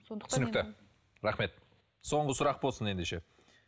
түсінікті рахмет соңғы сұрақ болсын ендеше